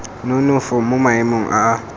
nonofo mo maemong a a